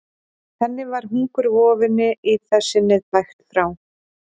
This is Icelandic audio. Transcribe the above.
Þannig var hungurvofunni í það sinnið bægt frá.